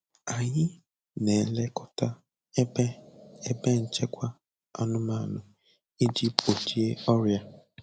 Anyị na-elekọta ebe ebe nchekwa anụmanụ iji gbochie ọrịa.